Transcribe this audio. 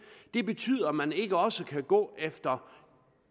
det betyder at man ikke også kan gå efter